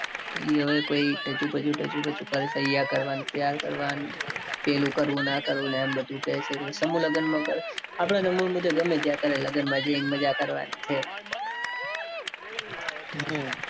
એ હવે કૈક ઢચુપચુ ઢચુપચુ કરે છે. અહીંયા કરવા ન ત્યાં કરવા. પેલું કરવું ન આ કરવું. એમ બધું કે છે બધું સમૂહ લગન માં કરે. આપણા મન માં તો ગમે ત્યાં કરે. લગન માં જઈને મજા કરવાના છે. હમ